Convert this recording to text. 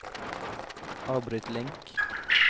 avbryt link